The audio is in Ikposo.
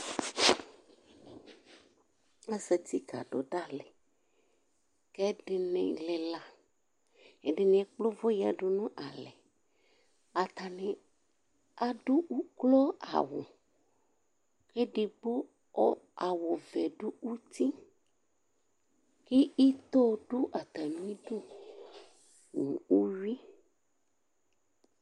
Azat kadʋvdali, kʋ ɛdini lila Ɛdini ekple ʋvʋ yadʋnʋ alɛ, atani adʋ ʋklo awʋ, edigbo awʋvɛ dʋ uti, kʋ ito dʋ atami idʋ nʋ uwi